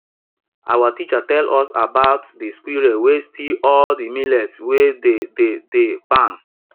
our teacher tell us about de squirrel wey steal all de millet wey dey dey de barn